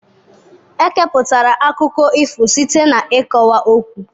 Ekeputara akụkọ ifo site n'ịkọwa ọkwụ